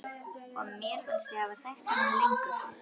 Og mér fannst ég hafa þekkt hana lengur.